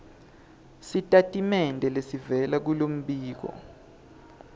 sitatimende lesivela kulombiko